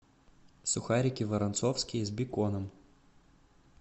сухарики воронцовские с беконом